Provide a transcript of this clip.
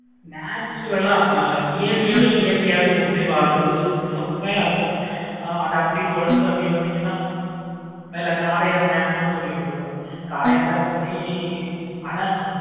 natural ஆஹ் நம்ம இயற்கை யோதா இயற்கையாவே நம்ம ஒன்றி வாழறோம். செம்மையை இருக்கும். அத அப்படி தொடர்ந்து வந்திங்கனா மேல காரையார் dam னு சொல்லிட்டு இருக்கும். காரையார் dam பத்தி ஆனா